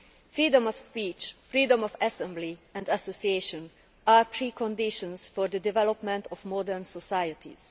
Freedom of speech and freedom of assembly and association are preconditions for the development of modern societies.